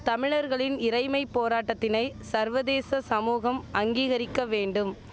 தமிழர்களின் இறைமை போராட்டதினை சர்வதேச சமூகம் அங்கீகரிக்க வேண்டும்